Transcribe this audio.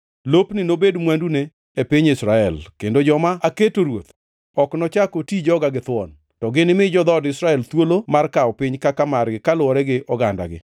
Lopni nobed mwandune e piny Israel. Kendo joma aketo ruoth ok nochak oti joga githuon, to ginimi jo-dhood Israel thuolo mar kawo piny kaka margi kaluwore gi ogandagi.